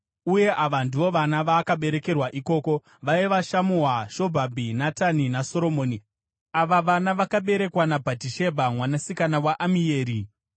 uye ava ndivo vana vaakaberekerwa ikoko. Vaiva: Shamua, Shobhabhi, Natani naSoromoni. Ava vana vakaberekwa naBhatishebha mwanasikana waAmieri.